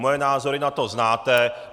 Moje názory na to znáte.